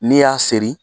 N'i y'a seri